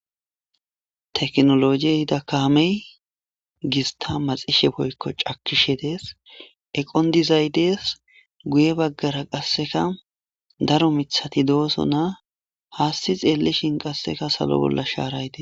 Tekinolojey ehida kammeyi gista macxxishe woyikko chakkishe dees eqqon dizay dees guye bagara qaseka daro mithati doosona hassi xellishin sallo bolla sharay deesi.